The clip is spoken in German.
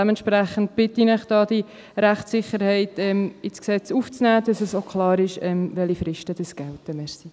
Dementsprechend bitte ich Sie, diese Rechtssicherheit ins Gesetz aufzunehmen, damit klar ist, welche Fristen gelten.